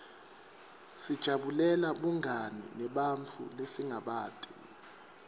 sijabulela bungani nebantfu lesingabati